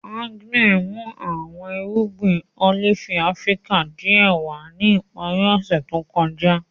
Agnes mu awọn irugbin olifi Afirika diẹ wa ni ipari ose to kọja.